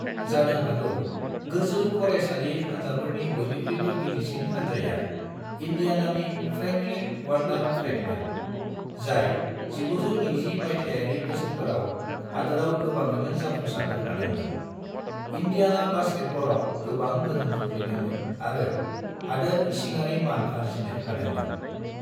जानो हागौ गोजौ फरायसालि हानजाफोरनि बयनिख्रयबो गिदिरसिन हानजाया इन्डियानानि फ्रेंकलिन वन्डार फाइभमोन, जाय 1920 मायथायारि बोसोरफोराव हादोराव गोबाङैनो जाफुंसारनो हादोंमोन, इन्डियाना बास्केटबलाव गोबां गोहोम खोख्लैदोंमोन आरो हादोर इसिङारि मान आरजिनो हादोंमोन।